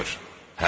Həlimdir.